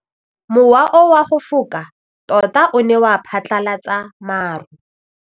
Mowa o wa go foka tota o ne wa phatlalatsa maru.